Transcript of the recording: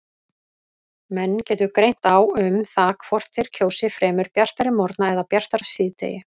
Menn getur greint á um það hvort þeir kjósi fremur bjartari morgna eða bjartara síðdegi.